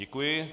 Děkuji.